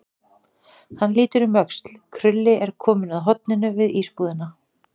Hann lítur um öxl, Krulli er kominn að horninu við ísbúðina.